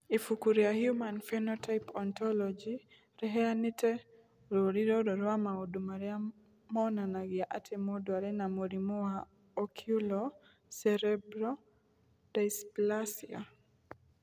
Ibuku rĩa Human Phenotype Ontology rĩheanĩte rũũri rũrũ rwa maũndũ marĩa monanagia atĩ mũndũ arĩ na mũrimũ wa Oculo cerebral dysplasia.